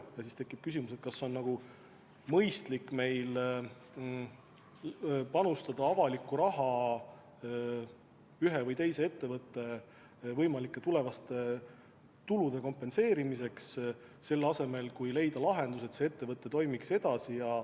Ja siis tekib küsimus, kas meil on mõistlik panustada avalikku raha ühe või teise ettevõtte võimalike tulevaste tulude huvides, selle asemel et leida lahendus, kuidas see ettevõte toimiks edasi.